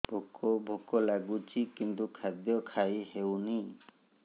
ଭୋକ ଭୋକ ଲାଗୁଛି କିନ୍ତୁ ଖାଦ୍ୟ ଖାଇ ହେଉନି